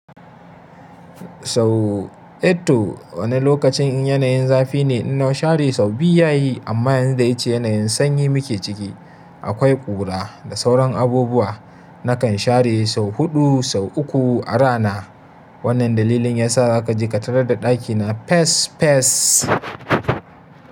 Sau eh to wani lokacin in yanayin zafi ne na share sau biyu yayi amma yanzu dai ce yanayin sanyi muke ciki. Akwai ƙura da sauran abubuwa nakan share sau huɗu sau uku a rana. Wannan dalilin yasa za ka ji ka tarar da ɗakina fes fes.